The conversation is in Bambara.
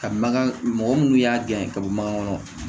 Ka mankan mɔgɔ minnu y'a gɛn ka bɔ mango kɔnɔ